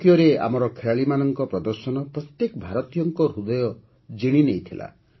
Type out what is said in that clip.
ଟୋକିଓରେ ଆମର ଖେଳାଳିଙ୍କ ପ୍ରଦର୍ଶନ ପ୍ରତ୍ୟେକ ଭାରତୀୟଙ୍କ ହୃଦୟ ଜିଣିନେଇଥିଲା